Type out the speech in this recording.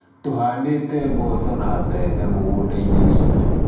tũhaandĩte mboco na mbembe mũgũnda-inĩ witũ.